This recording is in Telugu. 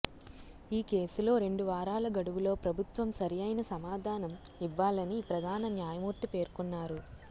ఈ కేసులో రెండు వారాల గడువులో ప్రభుత్వం సరైన సమాధానం ఇవ్వాలని ప్రధాన న్యాయమూర్తి పేర్కొన్నారు